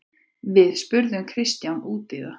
Við spurðum Kristján út í það.